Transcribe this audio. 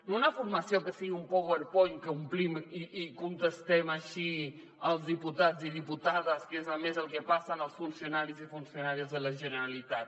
no una formació que sigui un powerpoint que omplim i contestem així els diputats i diputades que és a més el que passen als funcionaris i funcionàries de la generalitat